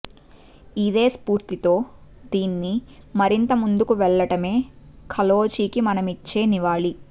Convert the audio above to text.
ఇదే స్ఫూర్తితో దీన్ని మరింత ముందుకు వెళ్లటమే కాళోజీకి మనమిచ్చే నివాళి